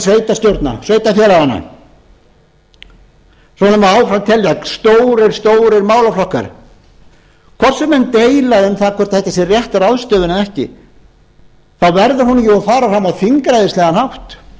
svona má áfram telja stórir stórir málaflokkar hvort sem menn deila um það hvort þetta sé rétt ráðstöfun eða ekki þá verður hún jú að fara fram á þingræðislegan hátt